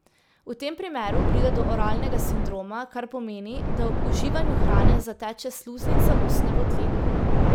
V tem primeru pride do oralnega sindroma, kar pomeni, da ob uživanju hrane zateče sluznica ustne votline.